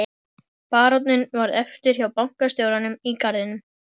Friðjónssyni og útlendingslega fylgdarmanninum sem var